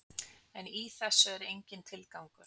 En í þessu er enginn tilgangur.